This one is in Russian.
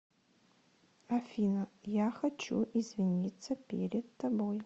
афина я хочу извиниться перед тобой